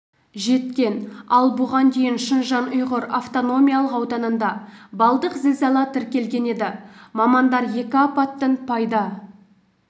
жеткен ал бұған дейін шыңжаң-ұйғыр автономиялық ауданында баллдық зілзала тіркелген еді мамандар екі апаттың пайда